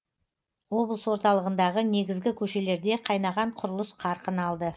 облыс орталығындағы негізгі көшелерде қайнаған құрылыс қарқын алды